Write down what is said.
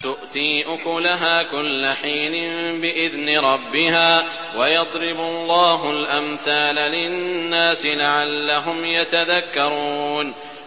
تُؤْتِي أُكُلَهَا كُلَّ حِينٍ بِإِذْنِ رَبِّهَا ۗ وَيَضْرِبُ اللَّهُ الْأَمْثَالَ لِلنَّاسِ لَعَلَّهُمْ يَتَذَكَّرُونَ